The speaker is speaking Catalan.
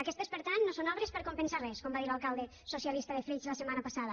aquestes per tant no són obres per compensar res com va dir l’alcalde socialista de flix la setmana passada